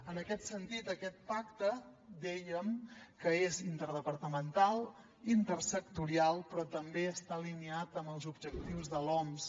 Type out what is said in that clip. en aquest sentit aquest pacte dèiem que és interdepartamental intersectorial però també està alineat amb els objectius de l’oms